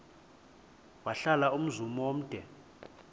wahlala umzum omde